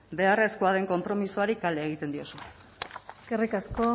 beharrezkoa den konpromisoari kale egiten diozue eskerrik asko